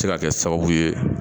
Se ka kɛ sababu ye